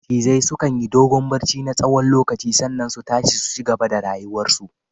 Macizai sukan yi dogon barci na tsawon lokaci sannan su tashi su cigaba da rayuwar su